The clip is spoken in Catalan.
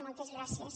moltes gràcies